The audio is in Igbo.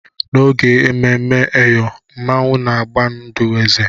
N'oge ememme eyọ, Mmanwu na-agba ndụ eze.